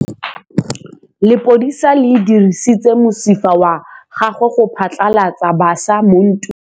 Lepodisa le dirisitse mosifa wa gagwe go phatlalatsa batšha mo ntweng.